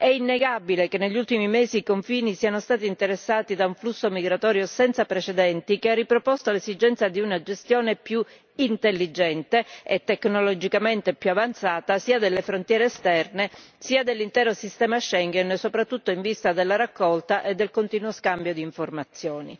È innegabile che negli ultimi mesi i confini siano stati interessati da un flusso migratorio senza precedenti che ha riproposto l'esigenza di una gestione più intelligente e tecnologicamente più avanzata sia delle frontiere esterne sia dell'intero sistema Schengen, soprattutto in vista della raccolta e del continuo scambio di informazioni.